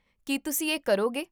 ਕੀ ਤੁਸੀਂ ਇਹ ਕਰੋਗੇ?